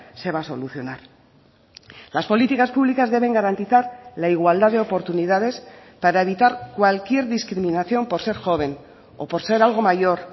se va a solucionar las políticas públicas deben garantizar la igualdad de oportunidades para evitar cualquier discriminación por ser joven o por ser algo mayor